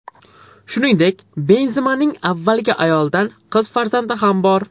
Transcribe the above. Shuningdek, Benzemaning avvalgi ayolidan qiz farzandi ham bor.